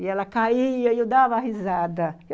E ela caía e eu dava risada.